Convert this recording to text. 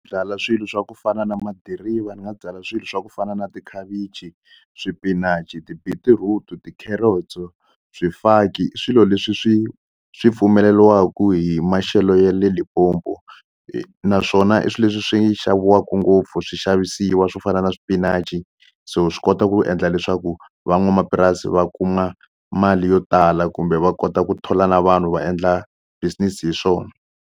Byala swilo swa ku fana na madiriva ni nga byala swilo swa ku fana na tikhavichi, swipinachi, ti-beetroot ti-carrots-o swifaki i swilo leswi swi swi pfumeleliwaku hi maxelo ya le Limpopo naswona i swi leswi swi xaviwaku ngopfu swixavisiwa swo fana na swipinachi so swi kota ku endla leswaku van'wamapurasi va kuma mali yo tala kumbe va kota ku thola na vanhu va endla business hi swona.